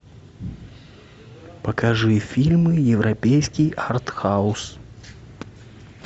покажи фильмы европейский артхаус